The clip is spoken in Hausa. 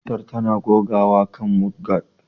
Motar tana gogawa kan mudguard